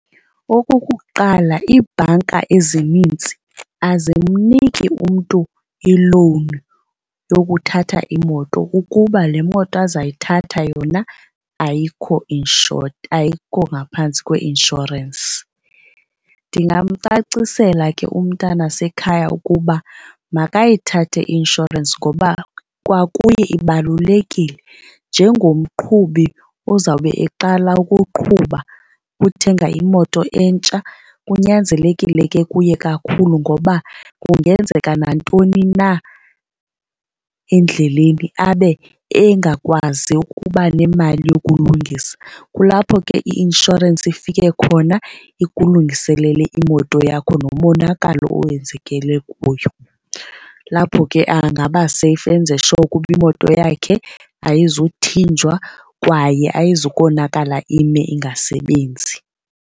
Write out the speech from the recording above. Okokuqala, iibhanka ezinintsi azimniki umntu ilowuni yokuthatha imoto kukuba le moto azayithatha yona ayikho insured, ayikho ngaphantsi kweinshorensi. Ndingamcacisela ke umntana sekhaya ukuba makayithathe i-inshorensi ngoba kwakuye ibalulekile njengomqhubi ozawube eqala ukuqhuba uthenga imoto entsha kunyanzelekile ke kuye kakhulu ngoba kungenzeka nantoni na endleleni abe engakwazi ukuba nemali yokulungisa. Kulapho ke i-inshorensi ifike khona ikulungiselele imoto yakho nomonakalo owenzekile kuyo. Lapho ke angaba safe enze sure uba imoto yakhe ayizuthinjwa kwaye ayizukonakala ime ingasebenzi.